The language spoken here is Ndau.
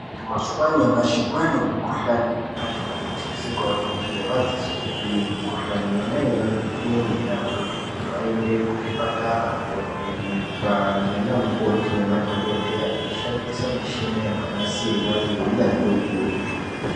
Mazuwa anyamashi kwaane mikhuhlani yakati kuti isingaoneki ngemadzisopi mikhuhlani yona yoiyoyo inenge yeida kutoti mhunhu aende kuchipatara kovhenekwa ngeanamukoti nemadhokodheya veishandisa mishina yakanasirwa ngeunyanzvi ukurutu.